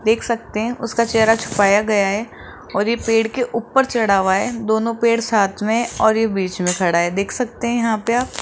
देख सकते हैं उसका चेहरा छुपाया गया है और ये पेड़ के ऊपर चढ़ा हुआ है दोनों पेड़ साथ में और ये बीच में खड़ा है देख सकते हैं यहां पे आप --